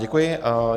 Děkuji.